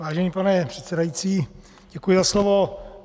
Vážený pane předsedající, děkuji za slovo.